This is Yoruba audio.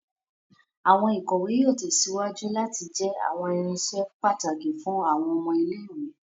Awọn ikọwe yóò tèsíwájú láti jẹ awọn irinṣẹ pàtàkì fún àwọn ọmọ ilé-ìwé